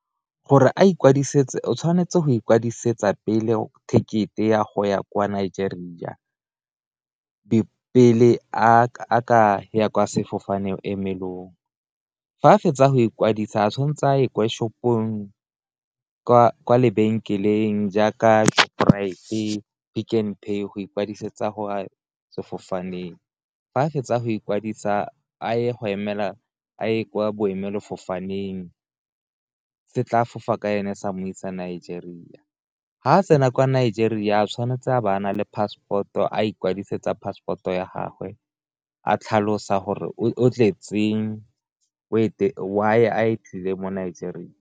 Gore a ikwadisetse o tshwanetse go ikwadisetsa pele ticket-e ya go ya kwa Nigeria pele a ka ya kwa sefofane emelelong, fa a fetsa go ikwadisa tshwanetse a kwa shopong kwa lebenkeleng jaaka Shoprite-e, Pick n Pay go ikwadisetsa go ya sefofaneng, fa a fetsa go ikwadisa a ye go emela a ye kwa boemela fofaneng se tla fofa ka e ne se mo isa Nigeria ga a tsena kwa Nigeria tshwanetse a bana le passport-o a ikwadisetsa passport-o ya gagwe, a tlhalosa gore o tletseng why a tlile mo Nigeria.